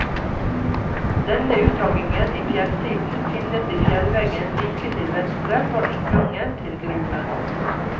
Denne uthoggingen i fjellsiden finnes i fjellveggen like til venstre for inngangen til gruven.